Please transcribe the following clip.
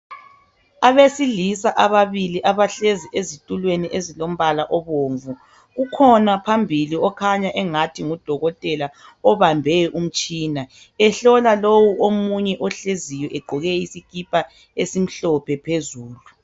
Abesilisa ababili abahlezi ezitulweni ezilombala obomvu. Ukhona phambili okhanya angathi ngudokotela obambe umtshina, ehlola lowo omunye ohleziyo egqoke isikipa esimhlophe phezulu.